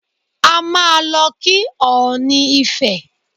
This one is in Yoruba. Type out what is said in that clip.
A máa lọ kí ọ̀ọ̀ni ifẹ̀.